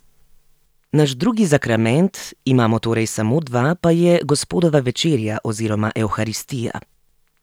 Naš drugi zakrament, imamo torej samo dva, pa je gospodova večerja oziroma evharistija.